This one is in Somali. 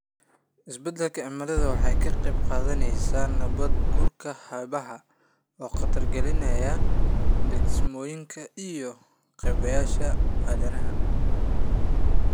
Isbeddelka cimiladu waxay ka qayb qaadanaysaa nabaad guurka xeebaha, oo khatar gelinaya degsiimooyinka iyo kaabayaasha aadanaha.